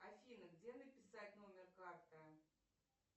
афина где написать номер карты